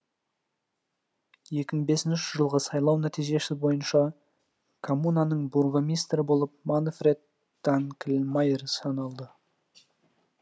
екі мың бесінші жылғы сайлау нәтижесі бойынша коммунаның бургомистрі болып манфред данкльмайер сайланды